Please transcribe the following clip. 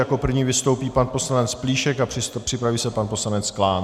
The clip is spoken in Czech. Jako první vystoupí pan poslanec Plíšek a připraví se pan poslanec Klán.